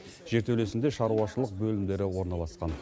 жертөлесінде шаруашылық бөлімдері орналасқан